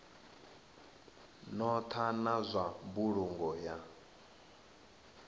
notha na zwa mbulungo ya